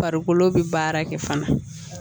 Farikolo bɛ baara kɛ fana